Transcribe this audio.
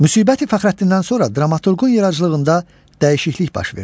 Müsibəti Fəxrəddindən sonra dramaturqun yaradıcılığında dəyişiklik baş verdi.